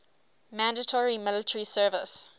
mandatory military service